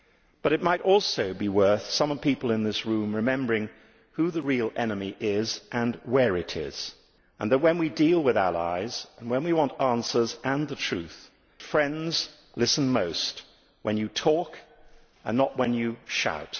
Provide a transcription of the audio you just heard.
But it might also be worth some people in this room remembering who the real enemy is and where it is, and that when we deal with allies and when we want answers and the truth, friends listen most when you talk and not when you shout.